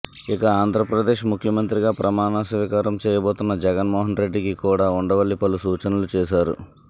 ఇక ఆంధ్రప్రదేశ్ ముఖ్యమంత్రిగా ప్రమాణ స్వీకారం చేయబోతోన్న జగన్మోహన్రెడ్డికి కూడా ఉండవల్లి పలు సూచనలు చేశారు